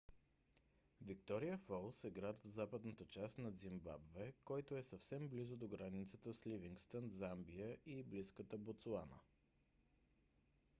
виктория фолс е град в западната част на зимбабве който е съвсем близо до границата с ливингстън замбия и близката ботсуана